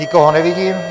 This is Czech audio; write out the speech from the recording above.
Nikoho nevidím.